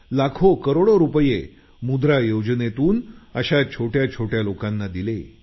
लाखो करोडो रुपये मुद्रा योजनेतून अशा छोट्या छोट्या लोकांना दिले